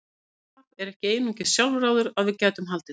Um það er hann ekki eins sjálfráður og við gætum haldið.